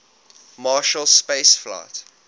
marshall space flight